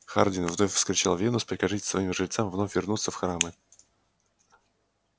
хардин вновь вскричал венус прикажите своим жрецам вновь вернуться в храмы